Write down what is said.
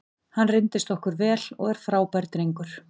Hann reyndist okkur vel og er frábær drengur.